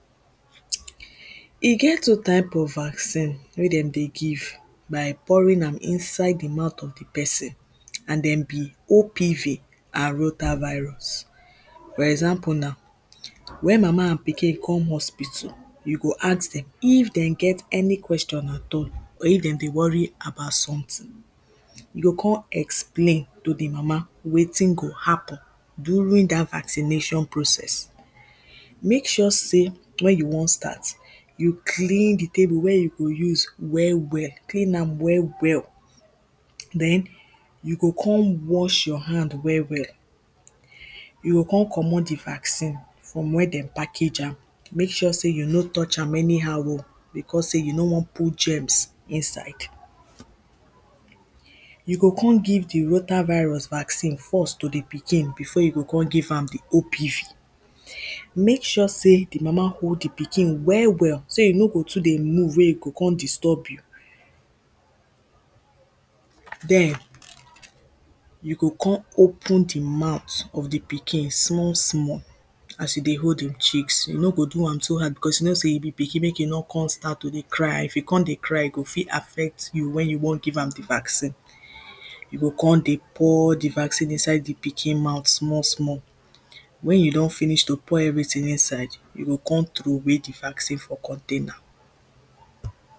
E get two type of vaccine wey dem dey give By pouring am inside di mouth of di person and dem be OPV and Rota-virus. For example na wen mama and pikin come hospital you go ask dem, if dem get any question at all or if dem dey worry about something you go come explain to di mama wetin go happen during dat vaccination process. Make sure sey wen you wan start you clean di table wey you dey use well well. Clean am well well then you go come wash your hand well well you go come comot di vaccine from where dem package am, make sure sey you no touch am anyhow oh becos sey you no one put germs inside You go come give di Rota-virus vaccine force to di pikin before you come give am di OPV Make sure sey di mama hold di pikin well well so e no go too dey move wey e go come disturb you then you go come open di mouth of di pikin small small as you dey hold di cheeks, you no go do am too hard, becos you know sey e be pikin make e no come start to dey cry, if e come dey cry, e go fit affect you wey you wan come give am di vaccine you go come dey pour di vaccine inside di pikin mouth small small Wen you don finish to pour everything inside, you go come troway di vaccine for container